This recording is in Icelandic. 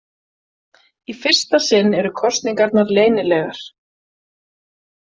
Í fyrsta sinn eru kosningarnar leynilegar.